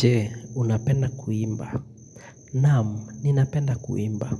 Je, unapenda kuimba. Naam, ninapenda kuimba.